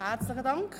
Herzlichen Dank.